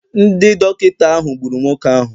Ndị dọkịta ahụ gburu nwoke ahụ